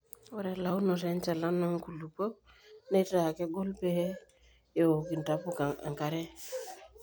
ore elaunoto enchalan oo nkulupuok neitaa kegol pee eouk intapuka enkare